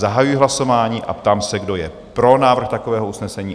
Zahajuji hlasování a ptám se, kdo je pro návrh takového usnesení?